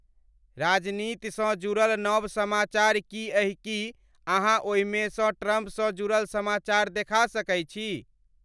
राजनीति स् जुड़ल नव समाचार की एहि की अहाँओहि में स ट्रंप स जुरल समाचार देखा सके छी